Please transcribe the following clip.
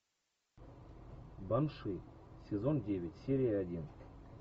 банши сезон девять серия один